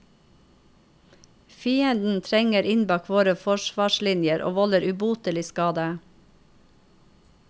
Fienden trenger inn bak våre forsvarslinjer og volder ubotelig skade.